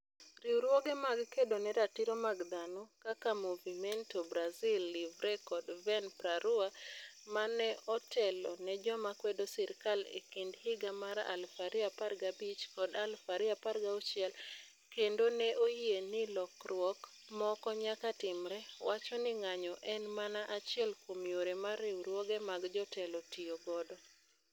Riwruoge mag kedo ne ratiro mag dhano kaka Movimento Brasil Livre kod Vem pra Rua, ma ne otelo ne joma kwedo sirkal e kind higa mar 2015 kod 2016 kendo ne oyie ni lokruok moko nyaka timre, wacho ni ng'anyo en mana achiel kuom yore ma riwruoge mag jotelo tiyo godo.